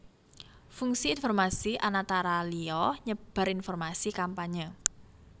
Fungsi informasi anatara liya nyebar informasi kampanye